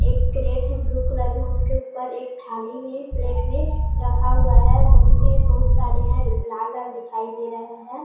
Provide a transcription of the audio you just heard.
एक कैरट है blue colour का उसके ऊपर एक थाली भी प्लेट भी रखा हुआ है बहुत ही बहुत सरे लाल लाल दिखाई दे रहा है।